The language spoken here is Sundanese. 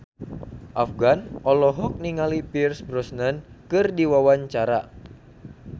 Afgan olohok ningali Pierce Brosnan keur diwawancara